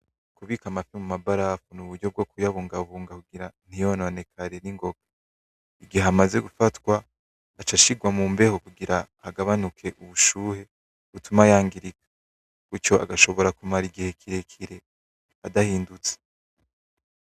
Kubika amafi mumabarafu, nuburyo bwokuyabungabunga kugira ntiyononekare ningoga. Mugihe amaze gufatwa, acashirwa mumbeho kugira agabanuke ubushuhe butuma yangirika. Gutyo agashobora kumara igihe kirekire adahindutse.